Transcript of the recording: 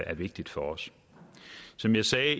er vigtigt for os som jeg sagde